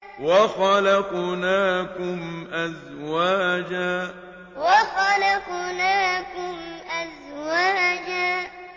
وَخَلَقْنَاكُمْ أَزْوَاجًا وَخَلَقْنَاكُمْ أَزْوَاجًا